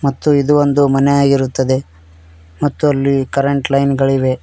ಮತ್ತು ಇದು ಒಂದು ಮನೆಯ ಆಗಿರುತ್ತದೆ ಮತ್ತು ಅಲ್ಲಿ ಕರೆಂಟ್ ಲೈನ್ ಗಳಿವೆ.